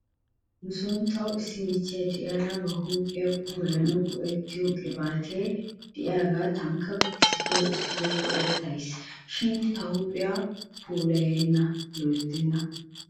Nuson tawu issi michcho de'iyaara ba huuphphiyaa puulayanawu go'ettiyoo qibaatee de'iyaagaa tankka issito issito go'ettays. shin ta huuphiyaakka loyttanee ?